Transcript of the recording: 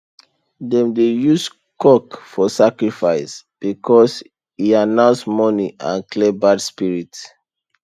dem dey use cock for sacrifice because e announce morning and clear bad spirit